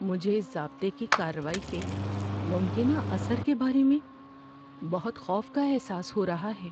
مجھے ضابطے کی کارروائی کے ممکنہ اثر کے بارے میں بہت خوف کا احساس ہو رہا ہے۔